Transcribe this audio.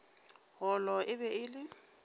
golo e be e le